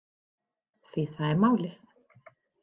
Því það er málið.